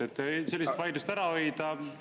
Et sellised vaidlused ära hoida, seisaksite …